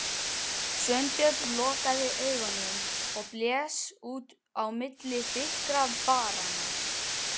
Sveinbjörn lokaði augunum og blés út á milli þykkra varanna.